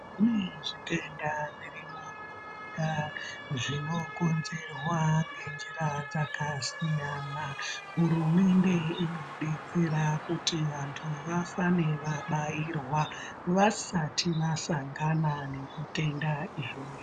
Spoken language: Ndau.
Zvimweni zvitenda zvirimwo zvinokonzerwa ngenjira dzakasiyana .Hurumende inodetsera kuti antu afame abairwa vsati asangana nezvitenda izvozvo.